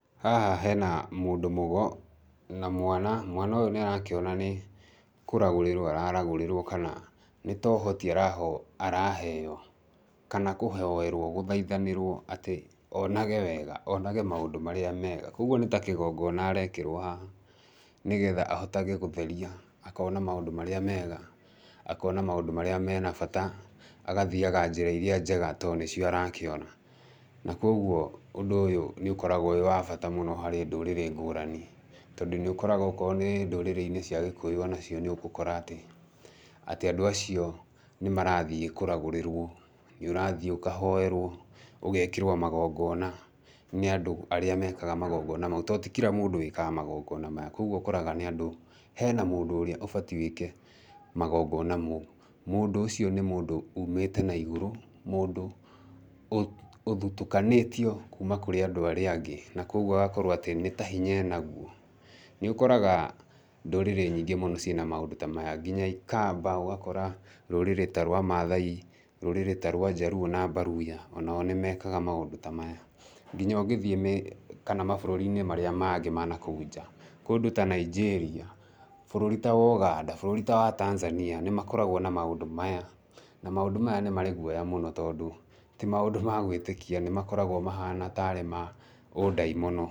Haha hena mũndũ mũgo na mwana. Mwana ũyũ nĩ arakĩona nĩ kũragũrĩrwo ara ragũrĩrwo kana nĩ ta ũhoti araheo, kana kũhoerwo, gũthaithanĩrwo atĩ onage wega, onage maũndũ marĩa mega, koguo nĩ ta kĩgongona arekĩrwo haha, nĩgetha ahotage gũtheria, akona maũndũ marĩa mega, akona maũndũ marĩa mena bata, agathiaga njĩra iria njega to nĩcio arakĩona. Na koguo ũndũ ũyũ, nĩ ũkoragwo wĩ wa bata mũno harĩ ndũrĩrĩ ngũrani, tondũ nĩ ũkoraga okorwo nĩ ndũrĩrĩ-inĩ cia gĩkũyũ onacio nĩ ũgũkora atĩ, atĩ andũ acio nĩ marathiĩ kũragũrĩrwo, nĩ ũrathiĩ ũkahoerwo, ũgekĩrwo magongona nĩ andũ arĩa mekaga magongona mau, tondũ ti kira mũndũ wĩkaga magongona maya, koguo ũkoraga nĩ andũ, hena mũndũ ũrĩa ũbatie wĩke magongona mau. Mũndũ ũcio nĩ mũndũ umĩte na igũrũ, mũndũ ũthutukanĩtio kuuma kũrĩ andũ arĩa angĩ, na koguo agakorwo atĩ, nĩ ta hinya enaguo. Nĩ ũkoraga ndũrĩrĩ nyingĩ mũno ciĩna maũndũ ta maya, nginya ikamba, ũgakora rũrĩrĩ ta rwa maathai, rũrĩrĩ ta rwa njaluo na mbaluya, o nao nĩ mekaga maũndũ ta maya. Nginya ũngĩthiĩ kana mabũrũri-inĩ marĩa mangĩ ma nakũu nja, kũndũ ta Nigeria, bũrũri ta Woganda, bũrũri ta wa Tanzania nĩ makoragwo na maũndũ maya, na maũndũ maya nĩ marĩ guoya mũno tondũ, ti maũndũ ma gwĩtĩkia, nĩ makoragwo mahana tarĩ ma ũndaimono.